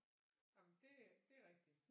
Jamen det det er rigtigt